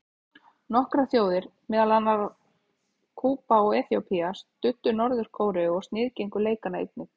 Nokkrar þjóðir, meðal annarra Kúba og Eþíópía, studdu Norður-Kóreu og sniðgengu leikana einnig.